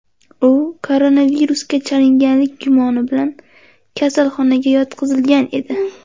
U koronavirusga chalinganlik gumoni bilan kasalxonaga yotqizilgan edi.